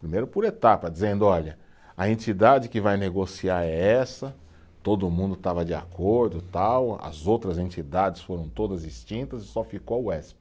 Primeiro por etapa, dizendo, olha, a entidade que vai negociar é essa, todo mundo estava de acordo, tal, as outras entidades foram todas extintas e só ficou a Uesp.